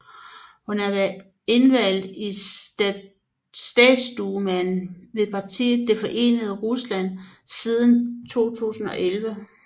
Hun har været indvalgt i Statsdumaen ved partiet Det Forenede Rusland siden 2011